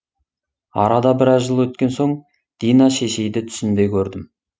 арада біраз жыл өткен соң дина шешейді түсімде көрдім